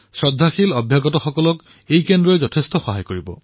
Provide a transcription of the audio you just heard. শ্ৰদ্ধাৱানসকলে ইয়াৰ দ্বাৰা যথেষ্ট উপকৃত হব